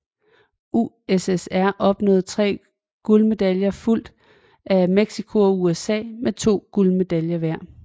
USSR opnåede tre guldmedaljer fulgt af Mexico og USA med to guldmedaljer hver